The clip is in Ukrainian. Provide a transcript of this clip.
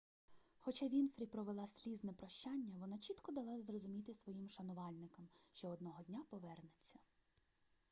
хоча вінфрі провела слізне прощання вона чітко дала зрозуміти своїм шанувальникам що одного дня повернеться